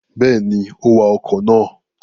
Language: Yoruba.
Bẹ́ẹ̀ni, ó wa ọkọ̀ náà.